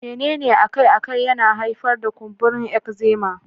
Menene akai-akai yana haifar da kumburin eczema?